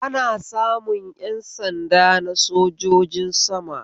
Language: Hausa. Ana samun ƴan sanda na sojojin sama